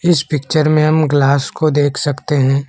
इस पिक्चर में हम ग्लास को देख सकते हैं।